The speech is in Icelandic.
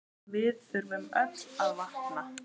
Við þurfum öll að vakna!